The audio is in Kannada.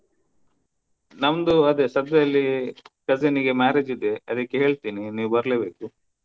ನಮ್ದು ಅದೇ ಸದ್ಯದಲ್ಲಿ cousin ಗೆ marriage ಇದೆ ಅದಿಕ್ಕೆ ಹೇಳ್ತೀನಿ ನೀವು ಬರ್ಲೇಬೇಕು.